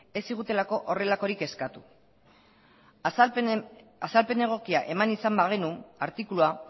ez zigutelako horrelakorik eskatu azalpen egokia eman izan bagenu artikulua